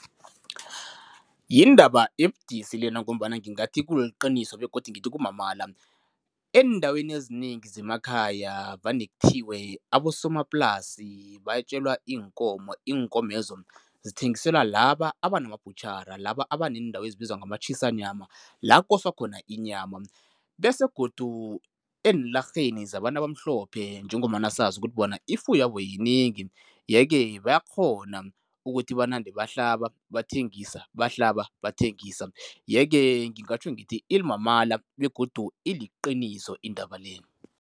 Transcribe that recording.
Yindaba ebudisi lena ngombana ngingathi kuliqiniso begodu ngithi kumamala. Eendaweni ezinengi zemakhaya vane kuthiwe abosomaplasi bayetjelwa iinkomo, iinkomezo zithengiselwa laba abantu abanamabhutjhara, laba abaneendawo ezibizwa ngama-Chisanyama, la koswa khona inyama bese godu eenlarheni zabantu abamhlophe njengombana sazi ukuthi bona ifuyabo yinengi yeke bayakghona ukuthi banande bahlaba bathengisa, bahlala bathengisa yeke ngingatjho ngithi imamala begodu iliqiniso indaba le.